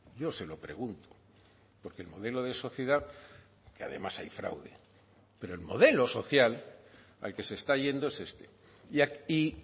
yo se lo pregunto porque el modelo de sociedad que además hay fraude pero el modelo social al que se está yendo es este y